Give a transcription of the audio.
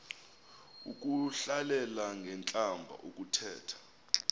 ukuhlalela ngentlamba ukuthetha